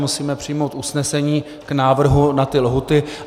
Musíme přijmout usnesení k návrhu na ty lhůty.